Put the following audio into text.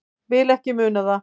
Vil ekki muna það.